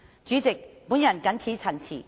主席，我謹此陳辭。